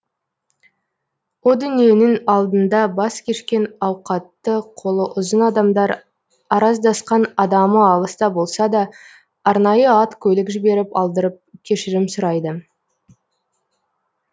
о дүниенің алдында бас кешкен ауқатты қолы ұзын адамдар араздасқан адамы алыста болса да арнайы ат көлік жіберіп алдырып кешірім сұрайды